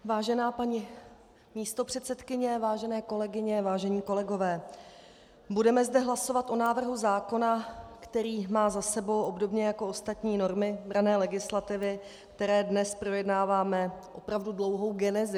Vážená paní místopředsedkyně, vážené kolegyně, vážení kolegové, budeme zde hlasovat o návrhu zákona, který má za sebou, obdobně jako ostatní normy branné legislativy, které dnes projednáváme, opravdu dlouhou genezi.